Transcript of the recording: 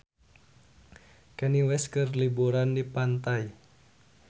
Kanye West keur liburan di pantai